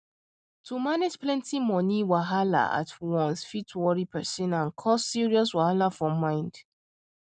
to manage plenty money wahala at once fit worry person and cause serious wahala for mind